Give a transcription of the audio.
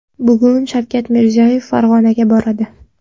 Bugun Shavkat Mirziyoyev Farg‘onaga boradi.